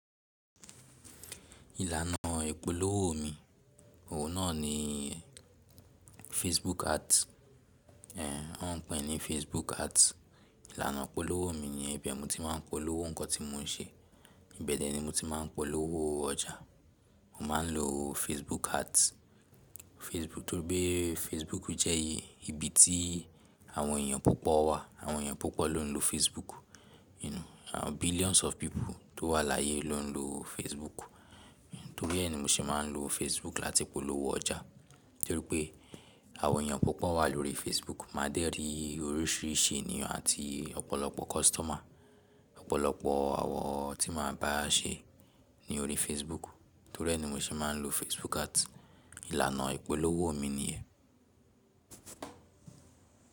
Ìlànà ìpolówó mi, òun náà ni Facebook ads. Ẹ ń pè é ní Facebook ads. Ìlànà ìpolówó mi niyẹ́n ibẹ̀ n mo tí máa ń polówó nǹkan tí mo ń ṣe. Ìbẹ̀ dẹ̀ ni mo ti máa ń polówó ọjà. Mo máa ń lo Facebook ads. Torí pé Facebook jẹ́ ibi tí àwọn èèyàn púpọ̀ wà. Àwọn èèyàn púpọ̀ ló ń lo Facebook. You know billions of people tó wà láyé ló ń lo Facebook. Torí ẹ́ ni mo ṣe máa ń lo Facebook láti polówó ọjà torí pé àwọn èèyàn púpọ̀ wà lórí Facebook. Màá dẹ́ rí oríṣìíríṣìí ènìyàn àti ọ̀pọ̀lọpọ̀ customer. Ọ̀pọ̀lọpọ̀ àwọ̀n tí màá bá a ṣe ni orí Facebook. Torí ẹ́ ni mo ṣe máa ń lo Facebook ads. Ìlànà ìpolówó mi ni ẹ́.